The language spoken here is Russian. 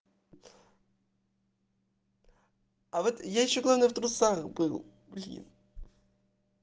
а вот я ещё главное в трусах был блин